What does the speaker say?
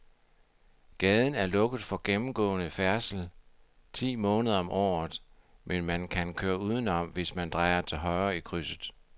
Gaden er lukket for gennemgående færdsel ti måneder om året, men man kan køre udenom, hvis man drejer til højre i krydset.